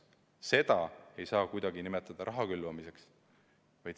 Seda ei saa kuidagi nimetada raha külvamiseks.